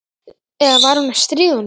Eða var hún að stríða honum?